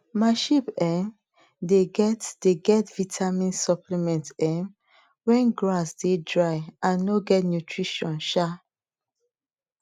my sheep um dey get dey get vitamin supplement um when grass dey dry and no get nutrition um